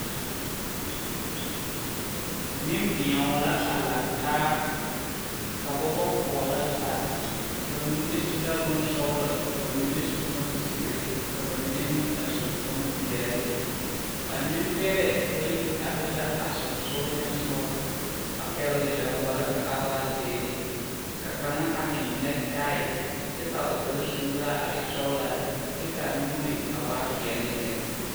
Neŋbio la a laŋtaa ka ba ba pɔɔrɔ zaa ba mine su la bonsɔglɔ ka ba mine su bonzeere ka ba mine meŋ a su bonpeɛle ba neŋ bɛrɛ bayi are la a seŋsugliŋsugɔ a pɛgle daŋgballa ka a waa zeere ka kaŋa a eŋ nɛke tai kyɛ ka o kpare suuraa a e sɔglaa kyɛ kaa nuure waa peɛle lɛ.